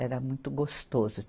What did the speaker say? Era muito gostoso.